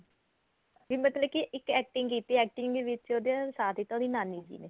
ਨੀ ਮਤਲਬ ਕੀ ਇੱਕ acting ਕੀਤੀ ਏ acting ਦੇ ਵਿੱਚ ਸਾਥ ਦਿੱਤਾ ਉਹਦੀ ਨਾਨੀ ਜੀ ਨੇ